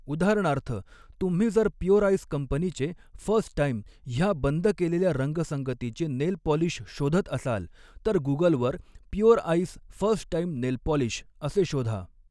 उदाहरणार्थ, तुम्ही जर प्युअरआइस कंपनीचे फर्स्ट टाइम ह्या बंद केलेल्या रंगसंगतीचे नेलपॉलिश शोधत असाल, तर गुगलवर 'pure ice first time nail polish' असे शोधा.